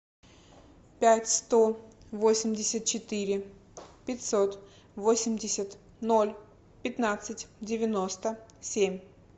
пять сто восемьдесят четыре пятьсот восемьдесят ноль пятнадцать девяносто семь